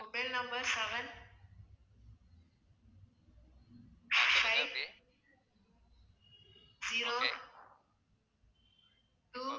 mobile number seven five zero two